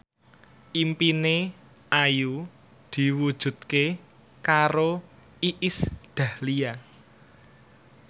impine Ayu diwujudke karo Iis Dahlia